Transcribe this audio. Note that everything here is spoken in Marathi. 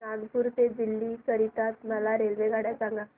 नागपुर ते दिल्ली करीता मला रेल्वेगाड्या सांगा